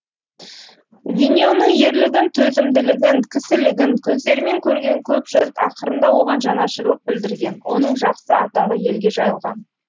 виньоның ерлігін төзімділігін кісілігін көздерімен көрген көп жұрт ақырында оған жанашырлық білдірген оның жақсы атағы елге жайылған